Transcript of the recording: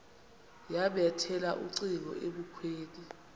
yabethela ucingo ebukhweni